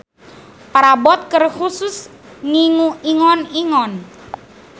Parabot keur khusus ngingu ingon-ingon.